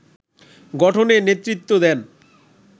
গঠনে নেতৃত্ব দেন